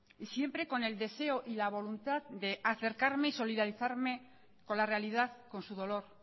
y siempre con el deseo y la voluntad de acercarme y solidarizarme con la realidad con su dolor